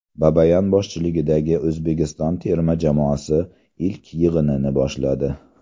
Babayan boshchiligidagi O‘zbekiston terma jamoasi ilk yig‘inini boshladi .